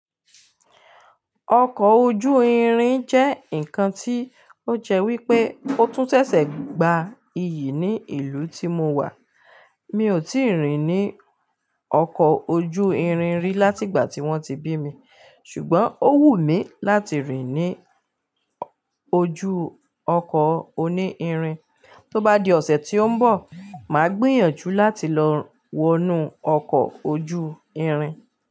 Ọkọ̀ ojú irin jẹ́ ǹkan tí ó jẹ́ wípé ó tún ṣẹ̀ṣẹ̀ gba iyì ní ìlú tí mo wà. Mi ò tíì rìn ní ọkọ̀ ojú irin rí láti ìgbà tí wọ́n ti bí mi, ṣùgbọ́n ó wù mí láti rìn ní ojú ọkọ̀ oní irin. Tó bá di ọ̀sẹ̀ tí ó ń bọ̀, màá gbìyànjú láti lọ wọnú ọkọ̀ ojú irin.